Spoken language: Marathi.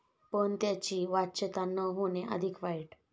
पण त्याची वाच्यता न होणे अधिक वाईट